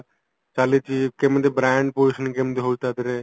ଚାଳିଚି କେମିତି brand position କେମିତି ହଉଚି ଟା ଧିଅରେ